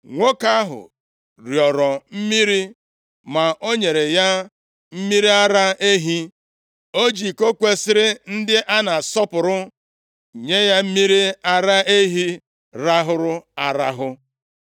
Nwoke ahụ rịọrọ mmiri, ma o nyere ya mmiri ara ehi, o ji iko kwesiri ndị a na-asọpụrụ nye ya mmiri ara ehi rahụrụ arahụ.